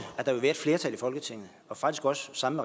at der vil være et flertal i folketinget og faktisk også sammen